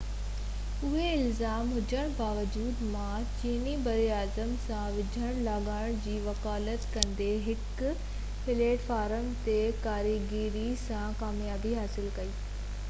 اهي الزام هجڻ باوجود ما چيني براعظم سان ويجهن لاڳاپن جي وڪالت ڪندي هڪ پليٽ فارم تي ڪاريگري سان ڪاميابي حاصل ڪئي